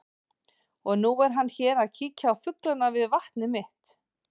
Og nú er hann hér að kíkja á fuglana við vatnið mitt.